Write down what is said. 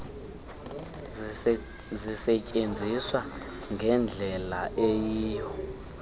zisetyenziswa ngendlela eyiyo